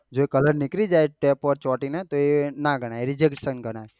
જો એ કલર નીકળી જાય ટેપ પર ચોટી ને તો એ નાં ગણાય rejection ગણાય.